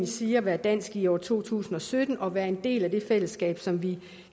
sige at være dansk i år to tusind og sytten og være en del af det fællesskab som vi